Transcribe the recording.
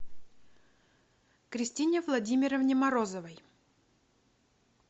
кристине владимировне морозовой